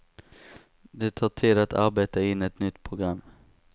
Det tar tid att arbeta in ett nytt program.